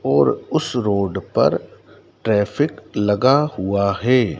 ओर उस रोड पर ट्रैफिक लगा हुआ है।